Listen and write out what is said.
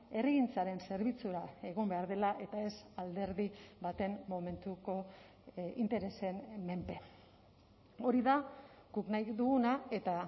herrigintzaren zerbitzura egon behar dela eta ez alderdi baten momentuko interesen menpe hori da guk nahi duguna eta